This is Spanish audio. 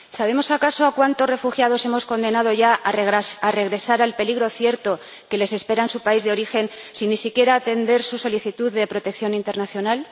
¿Sabemos acaso a cuántos refugiados hemos condenado ya a regresar al peligro cierto que les espera en su país de origen sin ni siquiera atender su solicitud de protección internacional?